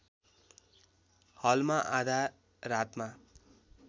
हलमा आधा रातमा